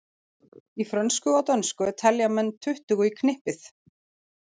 Í frönsku og dönsku telja menn tuttugu í knippið.